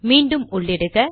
மீண்டும் உள்ளிடுக